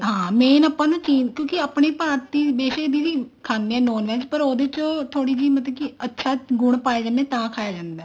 ਹਾਂ main ਆਪਾਂ ਨਾ ਚੀਨ ਕਿਉਂਕਿ ਆਪਣੇ ਭਾਰਤੀ ਦੇਸ਼ ਵੀ ਖਾਂਦੇ ਆ non VEG ਪਰ ਉਹਦੇ ਚ ਥੋੜੀ ਜੀ ਮਤਲਬ ਕੇ ਅੱਛੇ ਗੁਣ ਪਾਏ ਜਾਂਦੇ ਆ ਤਾਂ ਖਾਇਆ ਜਾਂਦਾ